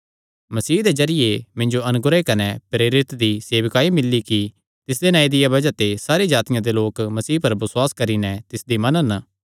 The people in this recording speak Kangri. मसीह दे जरिये मिन्जो अनुग्रह कने प्रेरित दी सेवकाई मिल्ली कि तिसदे नांऐ दिया बज़ाह ते सारी जातिआं दे लोक मसीह पर बसुआस करी नैं तिसदी मनन